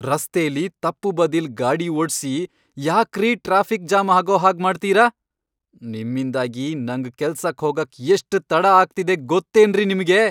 ರಸ್ತೆಲಿ ತಪ್ಪು ಬದಿಲ್ ಗಾಡಿ ಓಡ್ಸಿ ಯಾಕ್ರೀ ಟ್ರಾಫಿಕ್ ಜಾಮ್ ಆಗೋಹಾಗ್ ಮಾಡ್ತೀರ?!ನಿಮ್ಮಿಂದಾಗಿ ನಂಗ್ ಕೆಲ್ಸಕ್ ಹೋಗಕ್ ಎಷ್ಟ್ ತಡ ಆಗ್ತಿದೆ ಗೊತ್ತೇನ್ರಿ ನಿಮ್ಗೆ?!